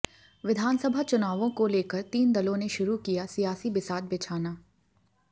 विधानसभा चुनावों को लेकर तीनों दलों ने शुरू किया सियासी बिसात बिछाना